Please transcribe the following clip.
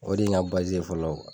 O de ye n ka n ka fɔlɔ